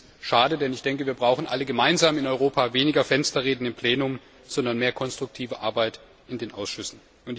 Ich finde das schade, denn wir brauchen alle gemeinsam in Europa weniger Fensterreden im Plenum, sondern mehr konstruktive Arbeit in den Ausschüssen.